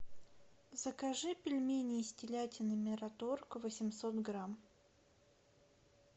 закажи пельмени из телятины мираторг восемьсот грамм